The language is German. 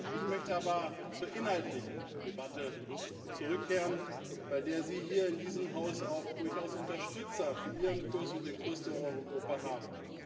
Ich möchte aber zur inhaltlichen Debatte zurückkehren, bei der Sie hier in diesem Haus auch durchaus Unterstützer für Ihren Kurs und den Kurs der Euro Gruppe haben.